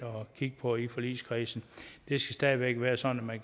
kigge på i forligskredsen det skal stadig væk være sådan at